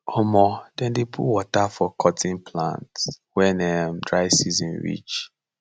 um dem dey put water for cotton plant wen um dry season reach